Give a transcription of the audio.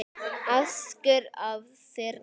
askur af þyrni